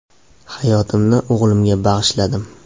Hayotimni o‘g‘limga bag‘ishladim.